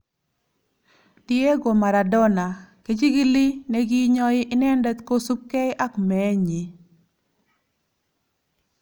Diego Maradona:Kejigili nekiinyoi inendet kosubkei ak meenyi